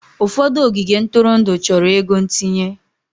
Ụfọdụ ogige ntụrụndụ chọrọ ego ntinye.